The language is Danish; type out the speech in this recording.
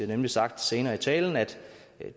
nemlig sagt senere i talen at